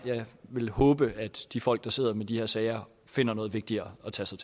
håber at de folk der sidder med de her sager finder noget vigtigere at tage sig